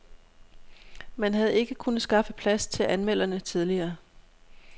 Man havde ikke kunnet skaffe plads til anmelderne tidligere.